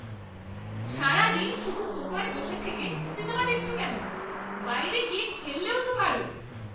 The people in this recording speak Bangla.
সারাদিন শুধু সোফায় বসে থেকে সিনেমা দেখছো কেন? বাইরে গিয়ে খেললেও তো পারো!